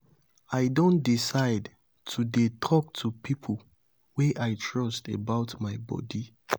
i don decide to dey talk to people wey i trust about my bodi.